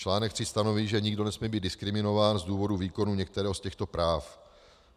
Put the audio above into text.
Článek 3 stanoví, že nikdo nesmí být diskriminován z důvodu výkonu některého z těchto práv.